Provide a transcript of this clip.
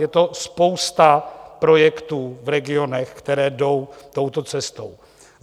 Je to spousta projektů v regionech, které jdou touto cestou.